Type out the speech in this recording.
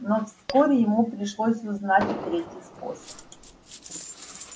но вскоре ему пришлось узнать и третий способ